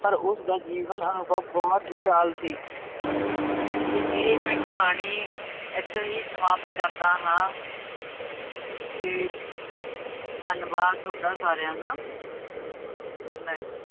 ਪਰ ਉਸਦਾ ਜੀਵਨ ਅਨੁਭਵ ਬਹੁਤ ਵਿਸ਼ਾਲ ਸੀ ਇਹ ਇਹ ਮੈਂ ਕਹਾਣੀ ਇੱਥੇ ਹੀ ਸਮਾਪਤ ਕਰਦਾ ਹਾਂ ਤੇ ਧੰਨਵਾਦ ਤੁਹਾਡਾ ਸਾਰਿਆਂ ਦਾ ਮੈਂ